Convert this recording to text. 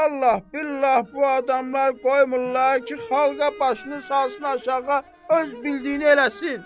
Vallah, billah bu adamlar qoymurlar ki, xalqa başını salsın aşağı öz bildiyini eləsin.